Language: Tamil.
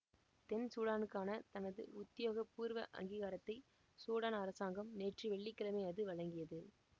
தென் சூடானுக்கான தனது உத்தியோகபூர்வ அங்கீகாரத்தை சூடான் அரசாங்கம் நேற்று வெள்ளி கிழமை அது வழங்கியது